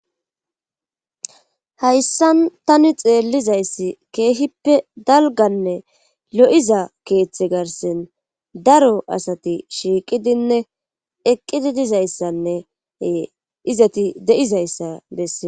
Haysaan tani xeellizayssi keehippe dalgganne lo7iza keethe garssen daro asati shiiqidinne eqidi dizayssanne ee izati de7izayssa bessee.